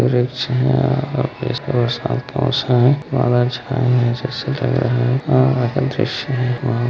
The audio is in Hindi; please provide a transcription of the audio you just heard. वृक्ष है बरसात का मौसम है वे बादल बहुत छाए है --]